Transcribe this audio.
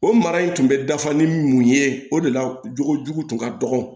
O mara in tun bɛ dafa ni mun ye o de la jogojugu tun ka dɔgɔn